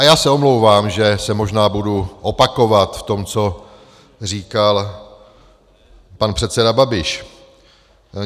A já se omlouvám, že se možná budu opakovat v tom, co říkal pan předseda Babiš.